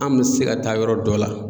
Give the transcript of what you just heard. An bɛ se ka taa yɔrɔ dɔ la.